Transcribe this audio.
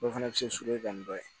Dɔw fana bɛ se suruɲa dɔ ye